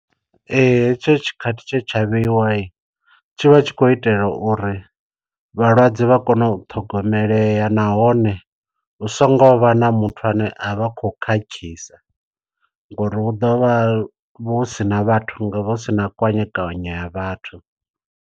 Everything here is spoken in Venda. Hetsho tshikhathi tshe tsha vheiwa tsho vha tshi khou itela uri vhalwadze vha kone u ṱhogomelea. Nahone hu so ngo vha na muthu ane a vha khou khakhisa ngori hu ḓovha hu sina vhathu nga hu sina kwanyekwanye ya vhathu.